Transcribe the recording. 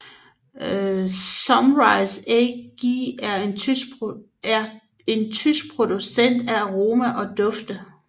Symrise AG er en tysk producent af aroma og dufte